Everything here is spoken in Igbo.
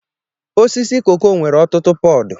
Osisi koko nwere ọtụtụ pọdụ.